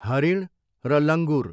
हरिण र लङ्गुर।